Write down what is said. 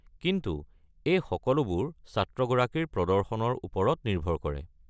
কিন্তু এই সকলোবোৰ ছাত্ৰগৰাকীৰ প্ৰদৰ্শনৰ ওপৰত নিৰ্ভৰ কৰে।